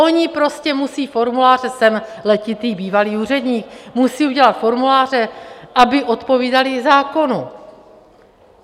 Oni prostě musí formuláře - jsem letitý bývalý úředník - musí udělat formuláře, aby odpovídaly zákonu.